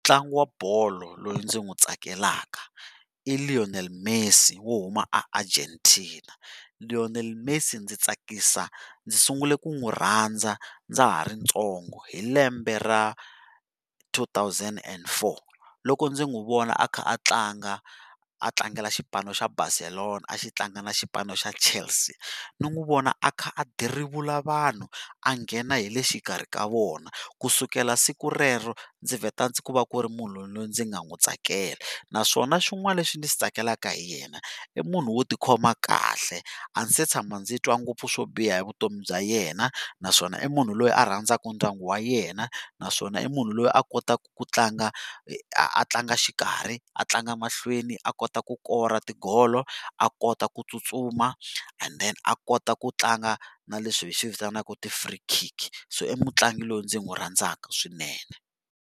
Mutlangi wa bolo loyi ndzi n'wu tsakelaka i Lionel Messi wo huma eArgentina, Lionel Messi ndzi tsakisa ndzi sungurile ku n'wi rhandza ndza ha ri ntsongo hi lembe ra two thousand and four, loko ndzi n'wi vona a kha a tlanga a tlangela xipano xa Barcelona a xi tlanga na xipano xa Chelsea ndzi n'wi vona a karhi a dirivula vanhu a nghena hi le xikarhi ka vona, kusukela siku rero ndzi vheta ku va ku ri munhu loyi ndzi nga n'wi tsakela naswona swin'wani leswi ni xi tsakelaka hi yena i munhu wo tikhoma kahle a ni se tshama ndzi twa ngopfu swo biha hi vutomi bya yena, naswona i munhu loyi a rhandzaka ndyangu wa yena naswona i munhu loyi a kotaka ku tlanga a tlanga xikarhi a tlanga mahlweni a kota ku kora tigolo a kota ku tsutsuma and then a kota ku tlanga na leswi hi swivitanaka ti-free kick so i mutlangi loyi ndzi n'wi rhandzaka swinene.